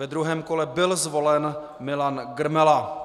Ve druhém kole byl zvolen Milan Grmela.